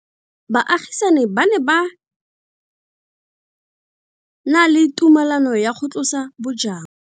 Baagisani ba ne ba na le tumalanô ya go tlosa bojang.